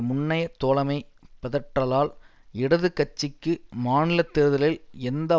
முன்னைய தோழமை பிதற்றலால் இடது கட்சிக்கு மாநில தேர்தலில் எந்த